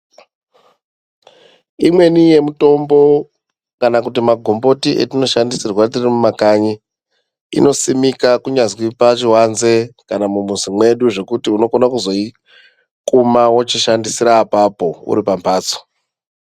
Imweni yemitombo kana kuti magomboti atino shandisirwa tiri mumakanyi inosimika kunyazi pachivanze kana mumuzi mwedu zvokuti unokona kuzoikuma wochishandisara apo uri pamhatso.